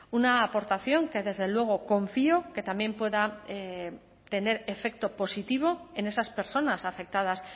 una aportación que desde luego confío que también pueda tener efecto positivo en esas personas afectadas